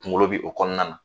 Kunkolo bɛ o kɔnɔna na